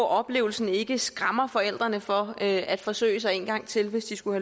oplevelsen ikke skræmmer forældrene fra at at forsøge sig en gang til hvis de skulle